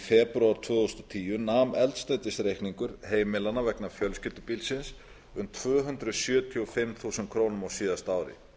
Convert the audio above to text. febrúar tvö þúsund og tíu nam eldsneytisreikningur heimilanna vegna fjölskyldubílsins um tvö hundruð sjötíu og fimm þúsund krónur á síðasta ári